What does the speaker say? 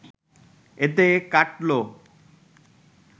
এতে কাটল